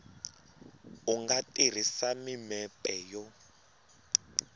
u nga tirhisa mimepe yo